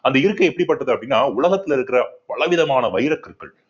அந்த இருக்கை எப்படிப்பட்டது அப்படின்னா உலகத்துல இருக்குற பல விதமான வைரக்கற்கள்